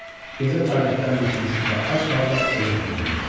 Gecə taqətdən düşmüş və ac halda evə doğru yönəldi.